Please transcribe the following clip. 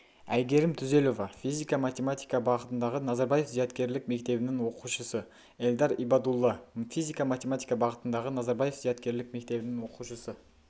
айгерім түзелова физика-математика бағытындағы назарбаев зияткерлік мектебінің оқушысы эльдар ибадулла физика-математика бағытындағы назарбаев зияткерлік мектебінің оқушысы